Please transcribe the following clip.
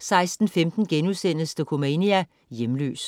16.15 Dokumania: Hjemløs*